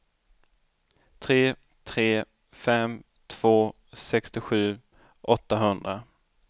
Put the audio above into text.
tre tre fem två sextiosju åttahundra